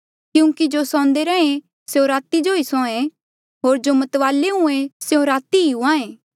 क्यूंकि जो सौंदे रैंहे स्यों राती ई सौंहा ऐें होर जो मतवाले हुंहां ऐें स्यों राती ई हुंहां ऐें